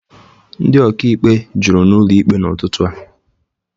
Ndị ọka ikpe juru n'ụlọ ikpe n'ụtụtụ a.